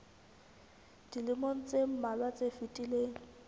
dilemong tse mmalwa tse fetileng